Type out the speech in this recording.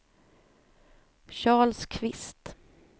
Charles Kvist